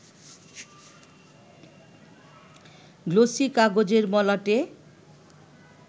glossy এ কাগজের মলাটে